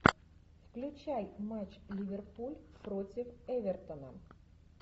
включай матч ливерпуль против эвертона